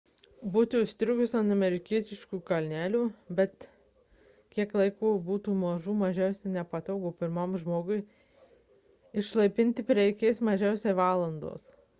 būti užstrigus ant amerikietiškųjų kalnelių bet kiek laiko būtų mažų mažiausiai nepatogu o pirmam žmogui išlaipinti prireikė mažiausiai valandos